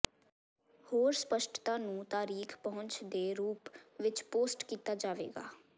ਹੋਰ ਸਪਸ਼ਟਤਾ ਨੂੰ ਤਾਰੀਖ ਪਹੁੰਚ ਦੇ ਰੂਪ ਵਿੱਚ ਪੋਸਟ ਕੀਤਾ ਜਾਵੇਗਾ